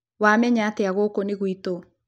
Wamenya atĩa gũũkũ nĩ gwĩ tũ?